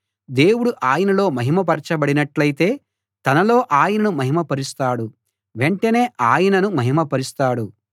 దేవుడు ఆయనలో మహిమ పరచబడినట్టయితే తనలో ఆయనను మహిమ పరుస్తాడు వెంటనే ఆయనను మహిమ పరుస్తాడు